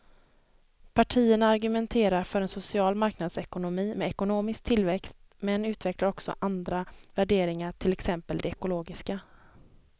Partierna argumenterar för en social marknadsekonomi med ekonomisk tillväxt men utvecklar också andra värderingar, till exempel de ekologiska.